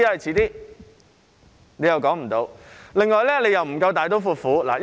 此外，當局又不夠大刀闊斧。